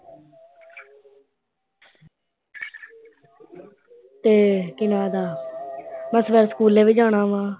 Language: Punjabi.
ਤੇ ਕੀ ਨਾਂ ਇਹਦਾ ਬਸ ਬਸ ਸਕੂਲੇ ਵੀ ਜਾਣਾ ਵਾ।